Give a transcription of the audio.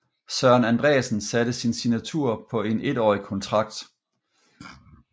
Søren Andreasen satte sin signatur på en etårig kontrakt